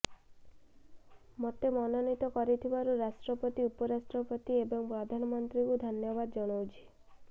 ମୋତେ ମନୋନୀତ କରିଥିବାରୁ ରାଷ୍ଟ୍ରପତି ଉପରାଷ୍ଟ୍ରପତି ଏବଂ ପ୍ରଧାନମନ୍ତ୍ରୀଙ୍କୁ ଧନ୍ୟବାଦ ଜଣାଉଛି